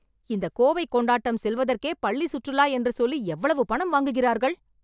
இந்த கோவை கொண்டாட்டம் செல்வதற்கே பள்ளி சுற்றுலா என்று சொல்லி எவ்வளவு பணம் வாங்குகிறார்கள்?